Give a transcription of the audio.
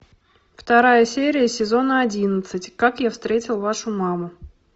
вторая серия сезона одиннадцать как я встретил вашу маму